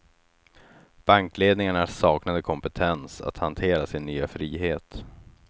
Bankledningarna saknade kompetens att hantera sin nya frihet.